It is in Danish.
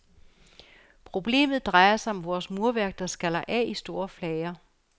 Problemet drejer sig om vores murværk, der skaller af i store flager.